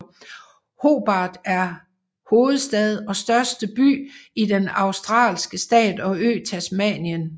Hobart er hovedstad og største by i den australske stat og ø Tasmanien